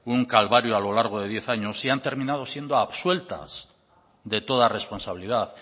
un calvario a lo largo de diez años y han terminado siendo absueltas de toda responsabilidad